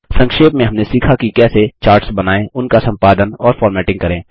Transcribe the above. संक्षेप में हमने सीखा कि कैसे चार्ट्स बनाएँ उनका सम्पादन और फ़ॉर्मेटिंग करें